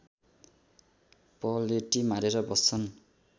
पलेटी मारेर बस्छन्